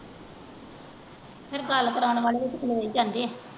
ਫੇਰ ਗੱਲ ਕਰਾਉਣ ਵਾਲੇ ਵੀ ਤੇ ਖਲੋ ਈ ਪੈਂਦੇ।